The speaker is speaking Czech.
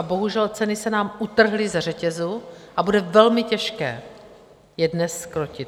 A bohužel, ceny se nám utrhly ze řetězu a bude velmi těžké je dnes zkrotit.